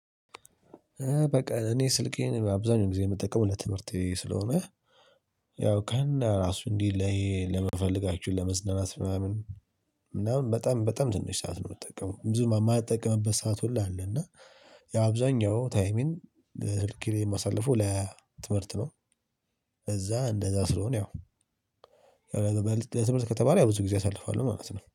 በቃ እኔ ስልኬን አብዛኛው ጊዜ የምጠቀመው ለትምህርቴ ስለሆነ ያው ከነ ራሱ እንዲህ ለምንፈለጋችሁ ለመዝናናት ምናምን ምናምን በጣም በጣም ትንሽ ሰዓት ነው። የምትጠቀመው ብዙ የማይጠቀምበት ሰዓት ሁሉ አለ። እና የአብዛኛው ታይሜን ለ ስልኬ ላይ የማሳልፈው ለትምህርት ነው። እዛ እንደዛ ስለሆነ ያው ለትምህርት ከተባለ ያው ብዙ ጊዜ አሳልፋለሁ ማለት ነው